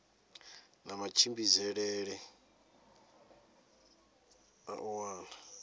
na matshimbidzele a u wana